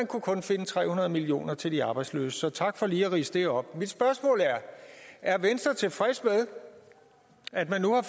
kunne kun finde tre hundrede million kroner til de arbejdsløse så tak for lige at ridse det op mit spørgsmål er er venstre tilfreds med at man nu har